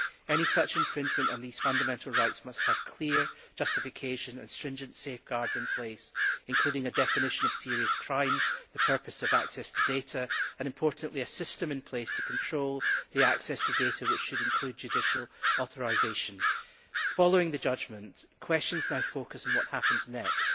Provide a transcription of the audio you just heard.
Any such infringement of these fundamental rights must have clear justification and stringent safeguards in place, including a definition of serious crime, the purpose of access to data and, importantly, a system in place to control the access to data which should include judicial authorisation. Following the judgment, questions now focus on what happens next.